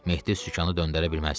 Mehdi sükanı döndərə bilməzdi.